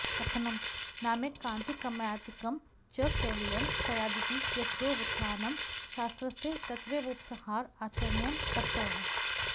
कथं नामैकान्तिकमात्यन्तिकं च कैवल्यं स्यादिति यत्रैवोत्थानं शास्त्रस्य तत्रैवोपसंहार आचार्येण कृतः